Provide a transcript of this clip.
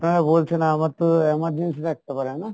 আমার তো আমার emergency থাকতে পারে না?